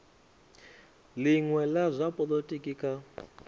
linwe la zwa polotiki kha